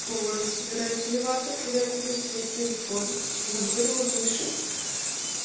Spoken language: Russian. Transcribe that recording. тоже собираюсь вливаться когда я куплю себе телефон чем я говорила выше